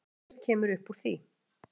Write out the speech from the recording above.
Ekkert kemur uppúr því